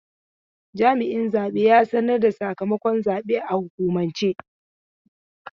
Jami'in zabe ya sanar da sakamakon zabe a hukumance.